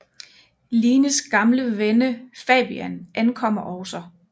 Lines gamle venne Fabian ankommer også